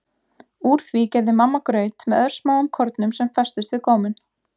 Úr því gerði mamma graut með örsmáum kornum sem festust við góminn.